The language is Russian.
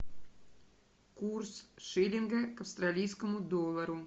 курс шиллинга к австралийскому доллару